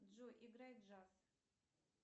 джой играй джаз